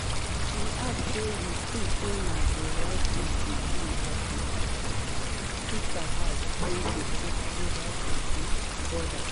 she add say: “we tink say na di right tin to do as my sister house dey located closer to di border.”